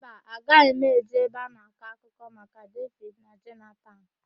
Mba, agaghị m eje ebe a na-akọ akụkọ maka Devid na Jonatan.